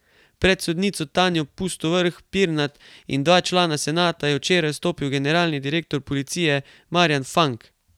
Pred sodnico Tanjo Pustovrh Pirnat in dva člana senata je včeraj stopil generalni direktor policije Marjan Fank.